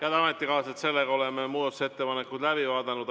Head ametikaaslased, oleme muudatusettepanekud läbi vaadanud.